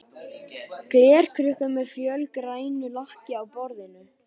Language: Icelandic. Glerkrukka með fölgrænu lakki á borðinu.